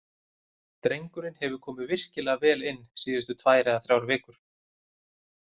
Drengurinn hefur komið virkilega vel inn síðustu tvær eða þrjár vikur.